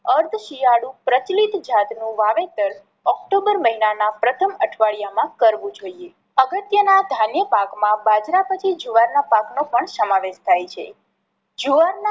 અર્ધ શિયાળુ પ્રચલિત જાત નું વાવેતર ઓક્ટોમ્બર મહિના ના પ્રથમ અઠવાડિયામાં કરવું જોઈએ. અગત્ય ના ધાન્ય પાક માં બાજરા પછી જુવાર ના પાક નો પણ સમાવેશ થાય છે. જુવાર ના